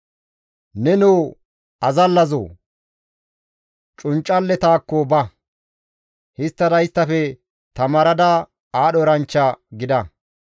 Nenoo azallazoo! Cunccalletaakko ba; histtada isttafe tamaarada aadho eranchcha gida.